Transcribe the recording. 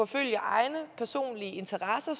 følge egne personlige interesser